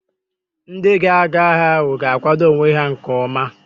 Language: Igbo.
Ndị ga-aga agha ahụ ga-akwado onwe ha nke ọma